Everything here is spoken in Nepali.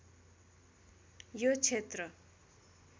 यो क्षेत्र